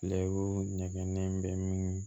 nɛgɛnnen bɛ min